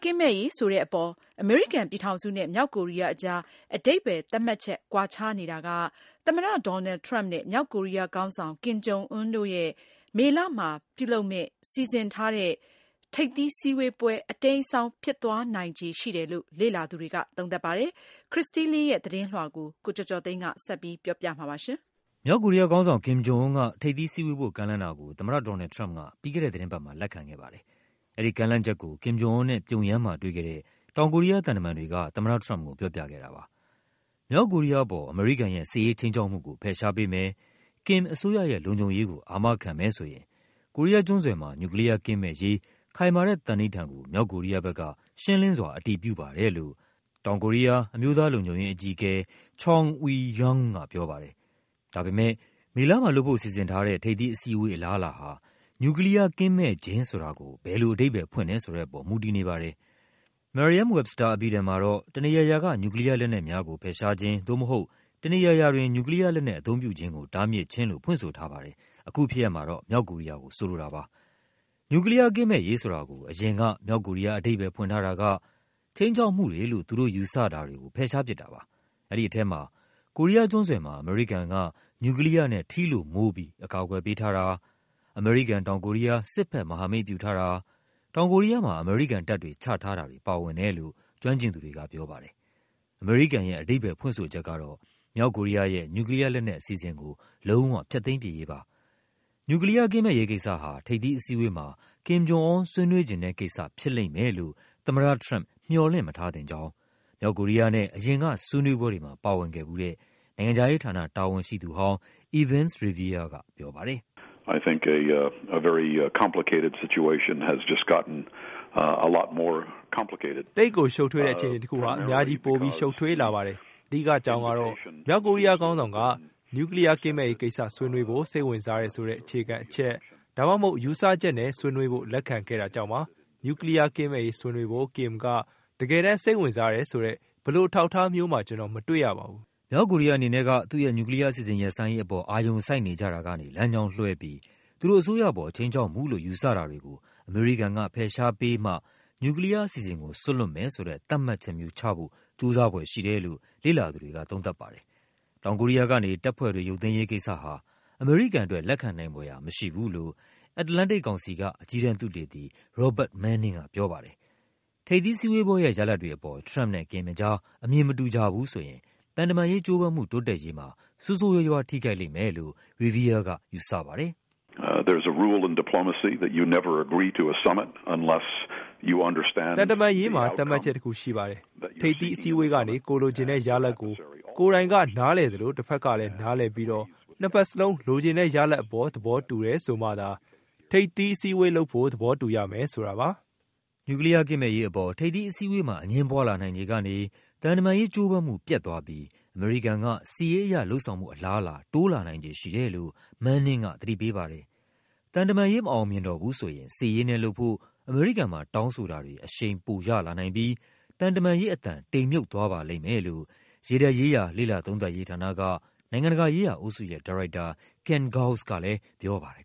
ကင်းမဲ့ရေးဆိုတာအပေါ် အမေရိကန်ပြည်ထောင်စုနဲ့ မြောက်ကိုရီးယားအကြား အဓိပ္ပါယ်သတ်မှတ် ချက် ကွာခြားနေတာက သမ္မတ ဒေါ်နယ်လ်ဒ် ထရမ့်ပ်နဲ့ မြောက်ကိုရီးယားခေါင်းဆောင် Kim Jong-Un တို့ရဲ့ မေလမှာလုပ်ဖို့ စီစဉ်ထားတဲ့ ထိပ်သီးစည်းဝေးပွဲ အတိမ်းအစောင်း ဖြစ်သွားနိုင်ခြေရှိတယ်လို့ လေ့လာသူတွေက သုံးသပ်ပါတယ်။ Christy Lee ရဲ့ သတင်းလွှာကို ကိုကျော်ကျော်သိန်းက ပြောပြပါမယ်။ မြောက်ကိုရီးယားခေါင်းဆောင် Kim Jong-Un က ထိပ်သီးစည်းဝေးဖို့ ကမ်းလှမ်းတာကို သမ္မတ ဒေါ်နယ်လ်ဒ် ထရမ့်ပ်က ပြီးခဲ့တဲ့သီတင်းပတ်မှာ လက်ခံခဲ့ပါတယ်။ အဲဒီကမ်းလှမ်းချက်ကို Kim Jong-Un နဲ့ ပြုံယမ်းမှာတွေ့ခဲ့တဲ့ တောင်ကိုရီးယား သံတမန်တွေက သမ္မတထရမ့်ပ်ကို ပြောပြခဲ့တာပါ။ “မြောက်ကိုရီးယားအပေါ် အမေရိကန်ရဲ့ စစ်ရေးခြိမ်းခြောက်မှုကို ဖယ်ရှားပေးမယ်၊ Kim အစိုးရရဲ့လုံခြုံရေးကို အာမခံမယ်ဆိုရင် ကိုရီးယားကျွန်းဆွယ်မှာ နျူကလီးယားကင်းမဲ့ရေး ခိုင်မာတဲ့သန္နိဋ္ဌာန်ကို မြောက်ကိုရီးယားဘက်က ရှင်းလင်းစွာ အတည်ပြုပါ တယ်” လို့ တောင်ကိုရီးယား အမျိုးသားလုံခြုံရေးအကြီးအကဲ Chung Eui-yong က ပြောပါတယ်။ ဒါပေမဲ့ မေလမှာလုပ်ဖို့ စီစဉ်ထားတဲ့ ထိပ်သီးအစည်းအဝေး အလားအလာဟာ နျူကလီးယားကင်းမဲ့ခြင်းဆိုတာကို ဘယ်လို အဓိပ္ပါယ်ဖွင့်တယ်ဆိုတဲ့အပေါ် မူတည်နေပါတယ်။ Merriam-Webster အဘိဓာန်မှာတော့ “တနေရာရာက နျူကလီးယား လက်နက်များကို ဖယ်ရှားခြင်း သို့မဟုတ် တနေရာရာတွင် နျူကလီးယားလက်နက် အသုံးပြုခြင်းကို တားမြစ်ခြင်း” လို့ ဖွင့်ဆို ထားပါတယ်။ အခုဖြစ်ရပ်မှာတော့ မြောက်ကိုရီးယားပါပဲ။ နျူကလီးယားကင်းမဲ့ရေးဆိုတာကို အရင်က မြောက်ကိုရီးယား အဓိပ္ပါယ်ဖွင့်ထားတာက ခြိမ်းခြောက်မှုတွေလို့ သူတို့ယူဆတာတွေ ကို ဖယ်ရှားပစ်တာပါ။ အဲဒီထဲမှာ ကိုရီးယားကျွန်းဆွယ်မှာ အမေရိကန်က နျူကလီးယားနဲ့ ထီးလိုမိုးပြီး ကာကွယ်ပေးထားတာ၊ အမေရိကန်-တောင်ကိုရီးယား စစ်ဘက်မဟာမိတ်ပြုထားတာ။ တောင်ကိုရီးယားမှာ အမေရိကန်တပ်တွေချထားတာတွေ ပါဝင် တယ်လို့ ကျွမ်းကျင်သူတွေကပြောပါတယ်။ အမေရိကန်ရဲ့ အဓိပ္ပါယ်ဖွင့်ဆိုချက်ကတော့ မြောက်ကိုရီးယားရဲ့ နျူကလီးယား လက်နက်အစီအစဉ်ကို လုံးဝ ဖျက်သိမ်းပစ်ရေးပါ။ နျူကလီးယားကင်းမဲ့ရေးကိစ္စဟာ ထိပ်သီးအစည်းအဝေးမှာ Kim Jong-Un ဆွေးနွေးချင်တဲ့ကိစ္စဖြစ်လိမ့်မယ်လို့ သမ္မတထရမ့်ပ် မျှော်လင့်မထားသင့်ကြောင်း မြောက်ကိုရီးယားနဲ့ အရင်ကဆွေးနွေးပွဲတွေမှာ ပါဝင်ခဲ့ဖူးတဲ့ နိုင်ငံခြားရေးဌာန တာဝန်ရှိသူဟောင်း Evans Revere ကပြောပါတယ်။ “သိပ်ကိုရှုပ်ထွေးတဲ့ အခြေအနေတခုဟာ အများကြီး ပိုပြီးရှုပ်ထွေးလာပါတယ်။ အဓိကအကြောင်းကတော့ မြောက်ကိုရီး ယားခေါင်းဆောင်က နျူကလီးယားကင်းမဲ့ရေးကိစ္စ ဆွေးနွေးဖို့ စိတ်ဝင်စားတယ်ဆိုတဲ့ အခြေခံအချက် ဒါမှမဟုတ် ယူဆချက်နဲ့ ဆွေးနွေးဖို့ လက်ခံခဲ့တာကြောင့်ပါ။ နျူကလီးယားကင်းမဲ့ရေး ဆွေးနွေးဖို့ Kim က တကယ်တမ်း စိတ်ဝင်စားတယ်ဆိုတဲ့ ဘယ်လို အထောက်အထားမျိုးမှ ကျနော်မတွေ့ရပါဘူး။” မြောက်ကိုရီးယားအနေနဲ့က သူ့ရဲ့နျူကလီးယားအစီအစဉ် ရပ်ဆိုင်းရေးပေါ် အာရုံစိုက်နေကြတာကနေ လမ်းကြောင်းလွှဲပြီး သူတို့အစိုးရအပေါ် ခြိမ်းခြောက်မှုလို့ ယူဆတာတွေကို အမေရိကန်က ဖယ်ရှားပေးမှ နျူကလီးယားအစီအစဉ်ကို စွန့်လွှတ်မယ် ဆိုတဲ့ သတ်မှတ်ချက်မျိုးချဖို့ ကြိုးစားဖွယ်ရှိတယ်လို့ လေ့လာသူတွေက သုံးသပ်ပါတယ်။ တောင်ကိုရီးယားကနေ တပ်ဖွဲ့တွေ ရုပ်သိမ်းရေးကိစ္စဟာ အမေရိကန်အတွက် လက်ခံနိုင်ဖွယ်ရာမရှိဘူးလို့ အတ္တလန်တိတ်ကောင်စီက အကြီးတန်းသုတေသီ Robert Manning ကပြောပါတယ်။ ထိပ်သီးစည်းဝေးပွဲရဲ့ ရလဒ်တွေအပေါ် ထရမ့်ပ်နဲ့ Kim အကြား အမြင်မတူကြဘူးဆိုရင် သံတမန်ရေးကြိုးပမ်းမှု တိုးတက်ရေးမှာ ဆိုးဆိုးရွားရွား ထိခိုက်လိမ့်မယ်လို့ Revere က ယူဆပါတယ်။ “သံတမန်ရေးမှာ သတ်မှတ်ချက်တခုရှိပါတယ်။ ထိပ်သီးအစည်းအဝေးကနေ ကိုယ်လိုချင်တဲ့ရလဒ်ကို ကိုယ်တိုင်က နားလည်သလို တဘက်ကလည်း နားလည်ပြီးတော့ နှစ်ဘက်လုံးက လိုချင်တဲ့ရလဒ်အပေါ် သဘောတူတယ်ဆိုမှသာ ထိပ်သီး အစည်းအဝေးလုပ်ဖို့ သဘောတူရမယ်ဆိုတာပါ။” နျူကလီးယားကင်းမဲ့ရေးအပေါ် ထိပ်သီးအစည်းအဝေးမှာ အငြင်းပွားလာနိုင်ခြေကနေ သံတမန်ရေးကြိုးပမ်းမှု ပျက်သွားပြီး အမေရိကန်က စစ်ရေးအရလုပ်ဆောင်ဖို့ အလားအလာ တိုးလာနိုင်ခြေရှိတယ်လို့ Manning က သတိပေးပါတယ်။ သံတမန်ရေး မအောင်မြင်တော့ဘူးဆိုရင် စစ်ရေးနဲ့လုပ်ဖို့ အမေရိကန်မှာတောင်းဆိုတာတွေ အရှိန်ပိုရလာနိုင်ပြီး သံတမန်ရေး အသံ တိမ်မြုပ်သွားပါလိမ့်မယ်လို့ ရေတပ်ရေးရာ လေ့လာသုံးသပ်ရေးဌာနက နိုင်ငံတကာရေးရာအုပ်စုရဲ့ ဒါရိုက်တာ Ken Gause ကလည်း ပြောပါတယ်